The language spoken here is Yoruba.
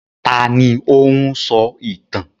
Ta ni ó ń sọ ìtàn?